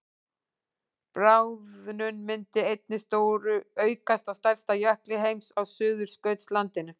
bráðnun myndi einnig stóraukast á stærsta jökli heims á suðurskautslandinu